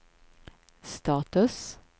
status